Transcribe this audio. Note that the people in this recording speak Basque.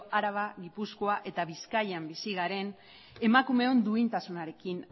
araba gipuzkoa eta bizkaian bizi garen emakumeon duintasunarekin